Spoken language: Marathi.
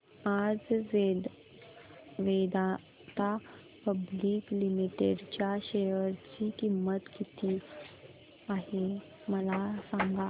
आज वेदांता पब्लिक लिमिटेड च्या शेअर ची किंमत किती आहे मला सांगा